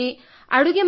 ಅಡ್ಡಾಡುತ್ತೇನೆ